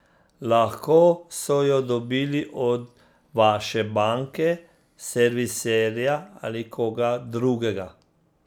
Lahko so jo dobili od vaše banke, serviserja ali koga drugega.